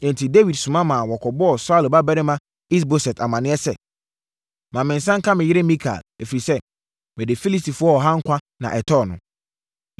Enti, Dawid soma ma wɔkɔbɔɔ Saulo babarima Is-Boset amaneɛ sɛ, “Ma me nsa nka me yere Mikal, ɛfiri sɛ, mede Filistifoɔ ɔha nkwa na ɛtɔɔ no.”